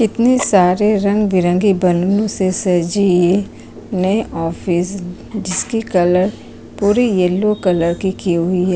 इतने सारे रंग-बिरंगे बनून से सजी नए ऑफिस जिसकी कलर पूरी येलो कलर की की हुई है।